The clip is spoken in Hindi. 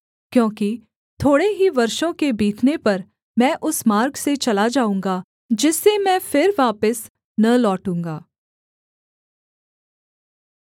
क्योंकि थोड़े ही वर्षों के बीतने पर मैं उस मार्ग से चला जाऊँगा जिससे मैं फिर वापिस न लौटूँगा